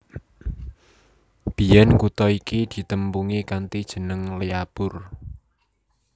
Biyèn kutha iki ditepungi kanthi jeneng Lyallpur